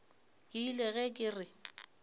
ke ile ge ke re